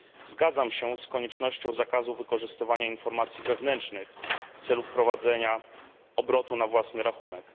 Zgadzam się z koniecznością zakazu wykorzystywania informacji wewnętrznych w celu wprowadzenia obrotu na własny rachunek.